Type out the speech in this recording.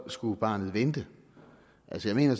skulle barnet vente altså jeg mener